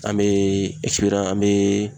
An bɛ an bɛɛɛ